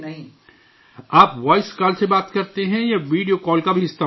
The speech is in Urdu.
آپ وائس کال سے بات کرتے ہیں یا ویڈیو کال کا بھی استعمال کرتے ہیں؟